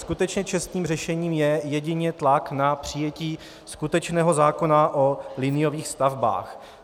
Skutečně čestným řešením je jedině tlak na přijetí skutečného zákona o liniových stavbách.